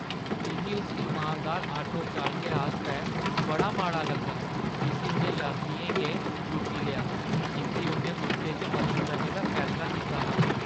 मिगी उस इमानदार आटो चालकै आस्तै बड़ा माड़ा लग्गा जिस्सी उʼनें यात्रियें गै लुट्टी लेआ जिंʼदी उʼन्नै मुख्तै च मदद करने दा फैसला कीता हा।